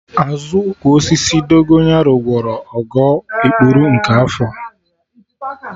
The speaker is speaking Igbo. Azụ ụkwụ osisi Dogonyaro gwọrọ Ogo ikpuru nke afọ